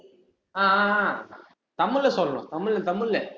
ஆஹ் அஹ் அஹ் தமிழ்ல சொல்லணும், தமிழ் தமிழ்ல